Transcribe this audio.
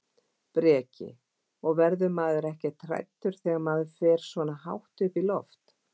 Breki: Og verður maður ekkert hræddur þegar maður fer svona hátt upp í loft?